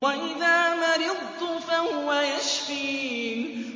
وَإِذَا مَرِضْتُ فَهُوَ يَشْفِينِ